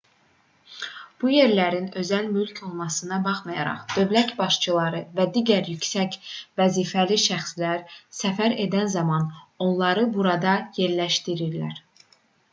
bu yerlərin özəl mülk olmasına baxmayaraq dövlət başçıları və digər yüksək vəzifəli şəxslər səfər edən zaman onları burada yerləşdirirlər